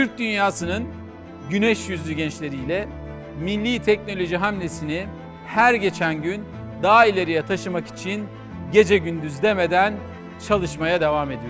Türk dünyasının güc yüzlü gəncləri ilə milli texnoloji hamlesini hər keçən gün daha irəliyə taşımak üçün gecə gündüz demədən çalışmağa davam edirik.